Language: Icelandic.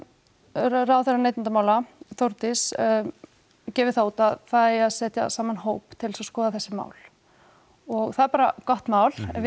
ráðherra neytendamála Þórdís gefið það út að það eigi að setja saman hóp til þess að skoða þessi mál og það er bara gott mál við